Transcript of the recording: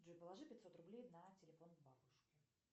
джой положи пятьсот рублей на телефон бабушке